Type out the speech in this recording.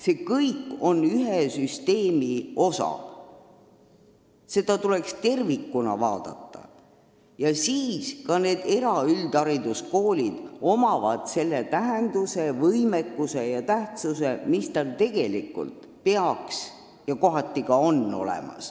See kõik on ühe süsteemi osa, seda tuleks tervikuna vaadata ja siis saavad ka eraüldhariduskoolid selle tähenduse, võimekuse ja tähtsuse, mis neil tegelikult peaks olema ja kohati ka on.